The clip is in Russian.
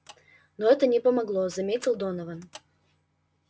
но это не помогло заметил донован